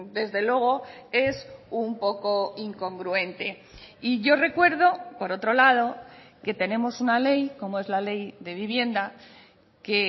desde luego es un poco incongruente y yo recuerdo por otro lado que tenemos una ley como es la ley de vivienda que